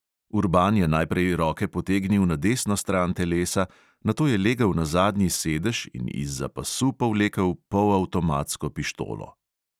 Urban je najprej roke potegnil na desno stran telesa, nato je legel na zadnji sedež in izza pasu povlekel polavtomatsko pištolo.